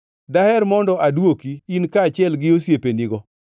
“Daher mondo adwoki in kaachiel gi osiepenigo.